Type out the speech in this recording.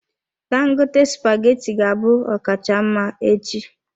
Dangote spaghetti ga-abụ ọkacha mma echi.